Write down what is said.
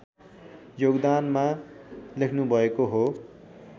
योगदानमा लेख्नुभएको हो